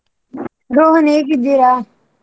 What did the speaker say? ರೋಹನ್ ಹೇಗಿದ್ದೀರ?